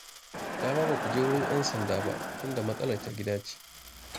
Dama ba ku je wurin 'yan sanda ba, tunda matsalar ta gida ce